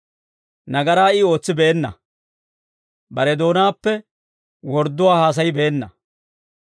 Nagaraa I ootsibeenna; bare doonaappe wordduwaa haasayibeenna.